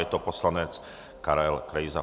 Je to poslanec Karel Krejza.